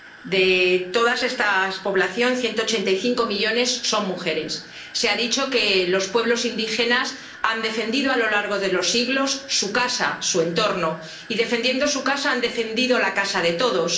De toda esa población, 185 millones son mujeres. Se ha dicho que los pueblos indígenas han defendido a lo largo de los siglos su casa, su entorno y defendiendo su casa han defendido la casa de todos.